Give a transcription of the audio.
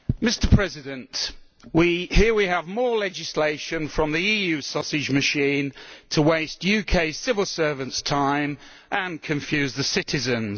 Mr President, here we have more legislation from the EU sausage machine to waste UK civil servants' time and confuse citizens.